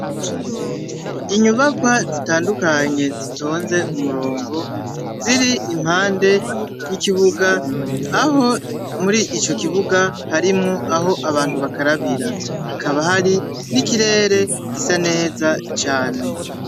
Inyubakwa zitandukanye zitonze umurongo ziri impande y'ikibuga aho muri ico kibuga harimwo aho abantu bakarabira. Hakaba hari n'ikirere gisa neza cane.